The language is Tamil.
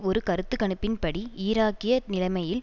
ஒரு கருத்து கணிப்பின் படி ஈராக்கிய நிலைமையில்